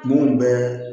Mun bɛ